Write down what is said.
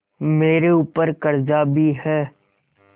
मेरे ऊपर कर्जा भी है